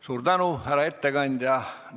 Suur tänu, härra ettekandja!